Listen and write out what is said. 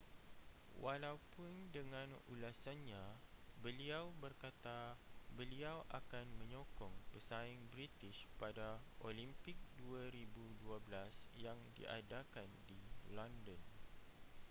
walaupun dengan ulasannya beliau berkata beliau akan menyokong pesaing british pada olimpik 2012 yang diadakan di london